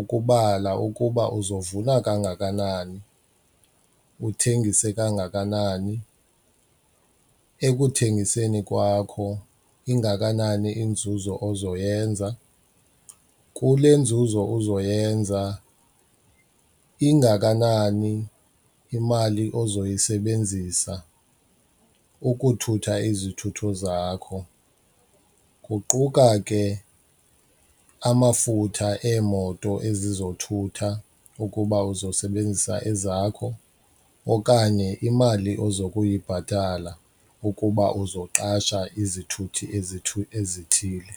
ukubala ukuba uzovuna kangakanani uthengise kangakanani. Ekuthengiseni kwakho ingakanani inzuzo ozoyenza, kule nzuzo uzoyenza ingakanani imali ozoyisebenzisa ukuthutha izithutho zakho, kuquka ke amafutha eemoto ezizothutha ukuba uzosebenzisa ezakho okanye imali ozokuyibhatala ukuba uzoqasha izithuthi ezithi ezithile.